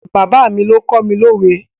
Bàbá mi ló kọ́ mi lówe.